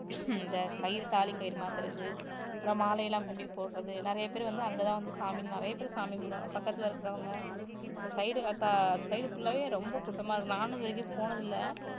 இந்த கயிறு தாலி கயிறு மாத்துறது அப்புறம் மாலை எல்லாம் கொண்டு போய் போடுறது நிறைய பேர் வந்து அங்கதான் வந்து சாமி நிறைய பேரு சாமி கும்பிடுவாங்க பக்கத்துல இருக்குறவங்க அந்த side க~ அந்த side full ஆவே ரொம்ப கூட்டமா இருக்கும் நானும் இது வரைக்கும் போனது இல்லை